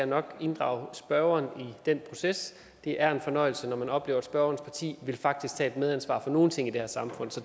nok inddrage spørgeren i den proces det er en fornøjelse når man oplever at spørgerens parti faktisk vil tage et medansvar for nogle ting i det her samfund så